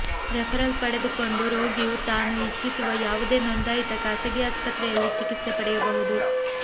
referral ಪಡೆದುಕೊಂಡು ರೋಗಿಯು ತಾನು ಇಚ್ಛಿಸುವ ಯಾವುದೇ ನೋಂದಾಯಿತ ಖಾಸಗಿ ಆಸ್ಪತ್ರೆಯಲ್ಲಿ ಚಿಕಿತ್ಸೆ ಪಡೆಯಬಹುದು